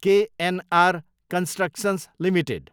KNR constructions Ltd